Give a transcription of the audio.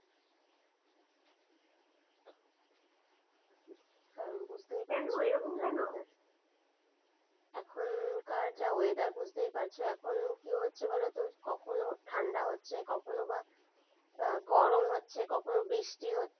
কারণ বুঝতেই পারছ। কেন এরকম কেন? এখনকার যা weather বুঝতেই পারছ ।এখন কি হচ্ছে বলতো? কখনো ঠান্ডা হচ্ছে, কখনো বা গরম হচ্ছে, কখনো বৃষ্টি হচ্ছে।